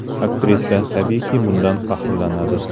Aktrisa, tabiiyki, bundan faxrlanadi.